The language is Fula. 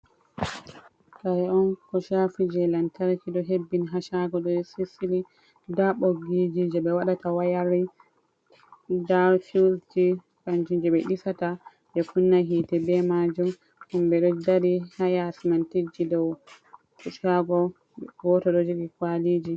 Kare on ko shafi je land tarki ɗon hebbini hashago ɗo sisili nda ɓoggiji je ɓe waɗata wayarin nda fiwus ji kanjum je ɓe disata ɓe kunna hite be majum, himɓe ɗo dari hayasi man tijji dow hashago goto ɗo jogi kwaliji.